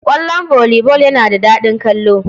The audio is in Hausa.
Ƙwallon volley ball yana da daɗin kallo.